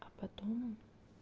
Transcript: а потом он